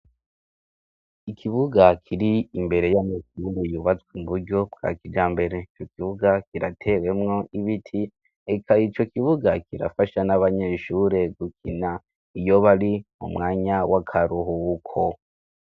Ikibuga kiri imbere y'amashure yubatswe mu buryo bwa kijambere. Ico kibuga kirateyemwo ibiti eka ico kibuga kirafasha n'abanyeshure gukina iyo bari mu mwanya w'akaruhuko.